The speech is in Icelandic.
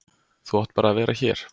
Þú átt bara að vera hér.